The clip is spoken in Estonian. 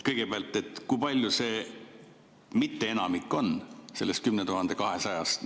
Kõigepealt, kui palju see mitteenamik on sellest 10 200‑st?